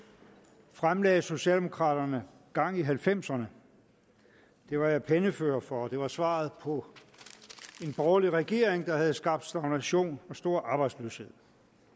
fremlagde socialdemokraterne gang i halvfemserne det var jeg pennefører for og det var svaret på en borgerlig regering der havde skabt stagnation og stor arbejdsløshed